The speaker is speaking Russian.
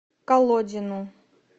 колодину